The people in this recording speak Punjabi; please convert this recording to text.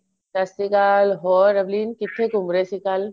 ਸਤਿ ਸ਼੍ਰੀ ਅਕਾਲ ਹੋਰ ਅਵਲੀਨ ਕਿੱਥੇ ਘੁੰਮ ਰਹੇ ਸੀ ਕੱਲ